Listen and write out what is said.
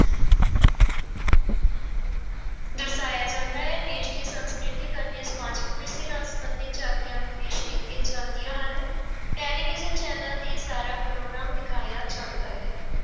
ਦਰਸਾਇਆ ਜਾਂਦਾ ਹੈ ਦੇਸ ਦੇ ਸੰਸਕ੍ਰਿਤਿਕ ਅਤੇ ਸਮਾਜਿਕ ਵਿਰਸੇ ਨਾਲ ਸੰਬੰਧਿਤ ਝਾਕੀਆਂ ਵੀ ਪੇਸ ਕੀਤੀਆਂ ਜਾਂਦੀਆਂ ਹਨ ਟੈਲੀਵਿਜ਼ਨ ਚੈਨਲਾਂ ਤੇ ਸਾਰਾ ਪ੍ਰੋਗਰਾਮ ਦਿਖਾਇਆ ਜਾਂਦਾ ਹੈ।